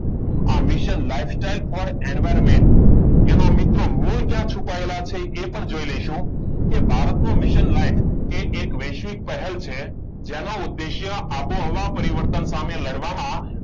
આ mission lifestyle for environment એમાં મિત્રો મૂળ ક્યાં છુપાયેલા છે એ પણ જોઈ લેશો. કે ભારતનું મિશન લાઈવ એવા વૈશ્વિક પહેલ છે. જેનો ઉદ્દેશ્ય આબોહવા પરિવર્તન સામે લડવામાં,